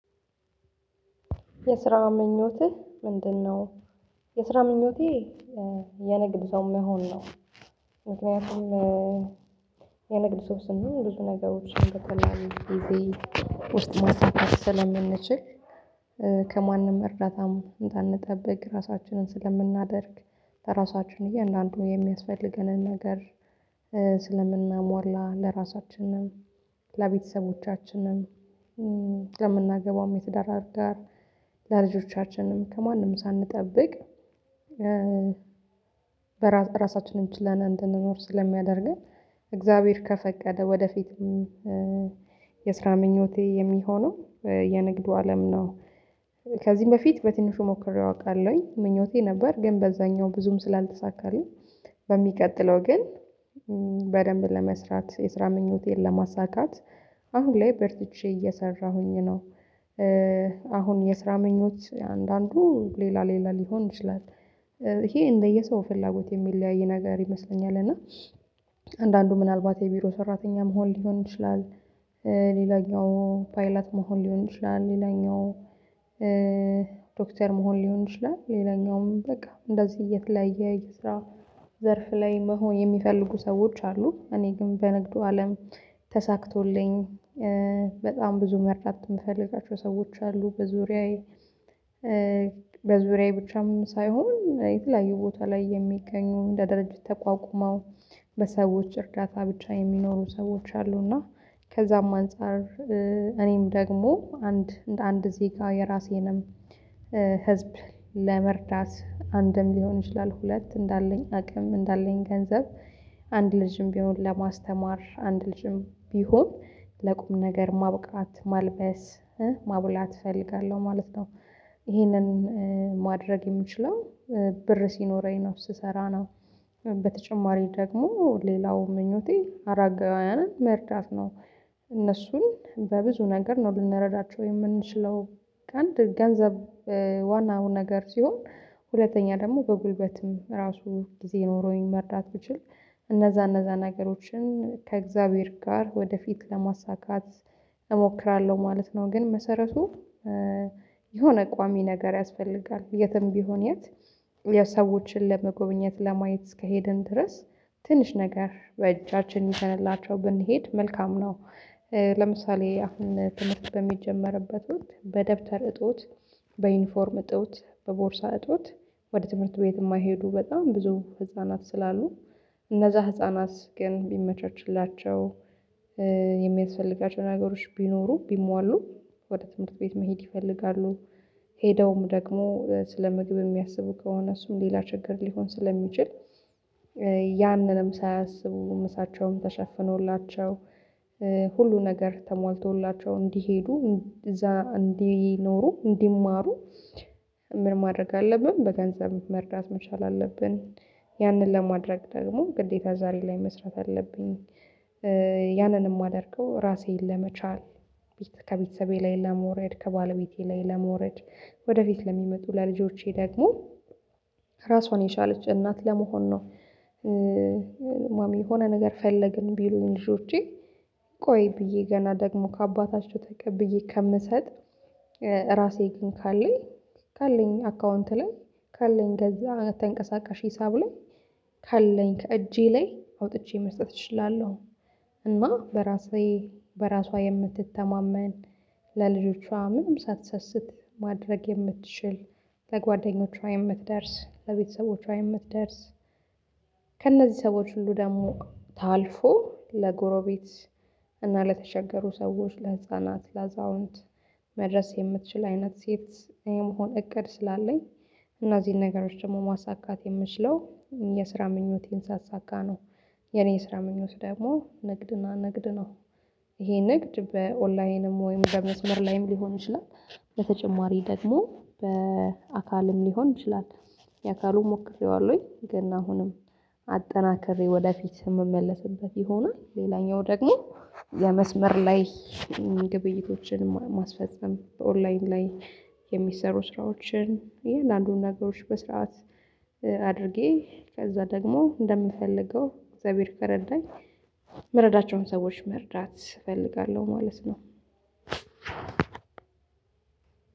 የስራ ምኞትህ ምንድን ነው? የስራ ምኞቴ የንግድ ሰው መሆን ነው። ምክንያቱም የንግድ ሰው ስንሆን ብዙ ነገሮችን በተለያዩ ጊዜ ውስጥ ማሳካት ስለምንችል ከማንም እርዳታም እንዳንጠብቅ ራሳችንን ስለምናደርግ ለራሳችን እያንዳንዱ የሚያስፈልገንን ነገር ስለምናሟላ ለራሳችንም ለቤተሰቦቻችንም ለምናገባውም የትዳር አጋር ለልጆቻችንም ከማንም ሳንጠብቅ። ራሳችንም ችለን እንድንኖር ስለሚያደርገን እግዚአብሔር ከፈቀደ ወደፊትም የስራ ምኞቴ የሚሆነው የንግዱ አለም ነው። ከዚህም በፊት በትንሹ ሞክሬው አውቃለሁኝ ምኞቴ ነበር ግን በዛኛው ብዙም ስላልተሳካልኝ በሚቀጥለው ግን በደንብ ለመስራት የስራ ምኞቴን ለማሳካት አሁን ላይ በርትቼ እየሰራሁኝ ነው። አሁን የስራ ምኞት አንዳንዱ ሌላ ሌላ ሊሆን ይችላል ይሄ እንደየ ሰው ፍላጎት የሚለያይ ነገር ይመስለኛል። እና አንዳንዱ ምናልባት የቢሮ ሰራተኛ መሆን ሊሆን ይችላል። ሌላኛው ፓይለት መሆን ሊሆን ይችላል ሌላኛው ዶክተር መሆን ሊሆን ይችላል ሌላኛውም በቃ እንደዚህ የተለያየ የስራ ዘርፍ ላይ መሆን የሚፈልጉ ሰዎች አሉ። እኔ ግን በንግዱ አለም ተሳክቶልኝ በጣም ብዙ መርዳት ምፈልጋቸው ሰዎች አሉ በዙሪያዬ በዙሪያዬ ብቻም ሳይሆን የተለያዩ ቦታ ላይ የሚገኙ እንደ ድርጅት ተቋቁመው በሰዎች እርዳታ ብቻ የሚኖሩ ሰዎች አሉ። እና ከዛም አንፃር እኔም ደግሞ አንድ እንደ አንድ ዜጋ የራሴንም ህዝብ ለመርዳት አንድም ሊሆን ይችላል ሁለት እንዳለኝ አቅም እንዳለኝ ገንዘብ አንድ ልጅም ቢሆን ለማስተማር አንድ ልጅም ቢሆን ለቁም ነገር ማብቃት ማልበስ ማብላት እፈልጋለሁ ማለት ነው። ይሄንን ማድረግ የምችለው ብር ሲኖረኝ ነው ስሰራ ነው። በተጨማሪ ደግሞ ሌላው ምኞቴ አራጋውያንን መርዳት ነው። እነሱን በብዙ ነገር ነው ልንረዳቸው የምንችለው አንድ ገንዘብ ዋናው ነገር ሲሆን ሁለተኛ ደግሞ በጉልበትም ራሱ ጊዜ ኖሮኝ መርዳት ብችል እነዛ እነዛ ነገሮችን ከእግዚአብሔር ጋር ወደፊት ለማሳካት እሞክራለሁ ማለት ነው። ግን መሰረቱ የሆነ ቋሚ ነገር ያስፈልጋል የትም ቢሆን የት ሰዎችን ለመጎብኘት ለማየት እስከሄድን ድረስ ትንሽ ነገር በእጃችን ይዘንላቸው ብንሄድ መልካም ነው። ለምሳሌ አሁን ትምህርት በሚጀመርበት ወቅት በደብተር እጦት በዩኒፎርም እጦት በቦርሳ እጦት ወደ ትምህርት ቤት የማይሄዱ በጣም ብዙ ህፃናት ስላሉ እነዛ ህፃናት ግን ቢመቻችላቸው የሚያስፈልጋቸው ነገሮች ቢኖሩ ቢሟሉ ወደ ትምህርት ቤት መሄድ ይፈልጋሉ። ሄደውም ደግሞ ስለ ምግብ የሚያስቡ ከሆነ እሱም ሌላ ችግር ሊሆን ስለሚችል ያንንም ሳያስቡ ምሳቸውም ተሸፍኖላቸው ሁሉ ነገር ተሟልተውላቸው እንዲሄዱ እዛ እንዲኖሩ እንዲማሩ። ምን ማድረግ አለብን በገንዘብ መርዳት መቻል አለብን። ያንን ለማድረግ ደግሞ ግዴታ ዛሬ ላይ መስራት አለብኝ። ያንንም ማደርገው ራሴን ለመቻል ከቤተሰቤ ላይ ለመውረድ ከባለቤቴ ላይ ለመውረድ ወደፊት ለሚመጡ ለልጆቼ ደግሞ ራሷን የቻለች እናት ለመሆን ነው። ማሚ የሆነ ነገር ፈለግን ቢሉኝ ልጆቼ ቆይ ብዬ ገና ደግሞ ከአባታቸው ተቀብዬ ከምሰጥ ራሴ ግን ካለኝ ካለኝ አካውንት ላይ ካለኝ ከዛ ተንቀሳቃሽ ሂሳብ ላይ ካለኝ ከእጄ ላይ አውጥቼ መስጠት እችላለሁ። እና በራሴ በራሷ የምትተማመን ለልጆቿ ምንም ሳትሰስት ማድረግ የምትችል ለጓደኞቿ የምትደርስ ለቤተሰቦቿ የምትደርስ ከእነዚህ ሰዎች ሁሉ ደግሞ ታልፎ ለጎረቤት እና ለተቸገሩ ሰዎች ለህፃናት ለአዛውንት መድረስ የምትችል አይነት ሴት የመሆን እቅድ ስላለኝ። እነዚህን ነገሮች ደግሞ ማሳካት የምችለው የስራ ምኞቴን ሳሳካ ነው። የኔ የስራ ምኞት ደግሞ ንግድና ንግድ ነው። ይሄ ንግድ በኦንላይንም ወይም በመስመር ላይም ሊሆን ይችላል። በተጨማሪ ደግሞ በአካልም ሊሆን ይችላል። የአካሉ ሞክሬዋለሁኝ ግን አሁንም አጠናክሬ ወደፊት የምመለስበት ይሆናል ሌላኛው ደግሞ የመስመር ላይ ግብይቶችን ማስፈጸም በኦንላይን ላይ የሚሰሩ ስራዎችን እያንዳንዱን ነገሮች በስርዓት አድርጌ ከዛ ደግሞ እንደምፈልገው እግዚአብሔር ከረዳኝ ምረዳቸውን ሰዎች መርዳት እፈልጋለሁ። ማለት ነው።